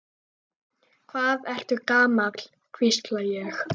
Hvað ertu gamall, hvísla ég.